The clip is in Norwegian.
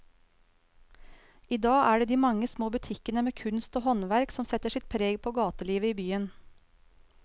I dag er det de mange små butikkene med kunst og håndverk som setter sitt preg på gatelivet i byen.